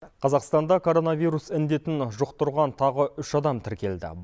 қазақстанда коронавирус індетін жұқтырған тағы үш адам тіркелді